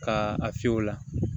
Ka a fiyɛ o la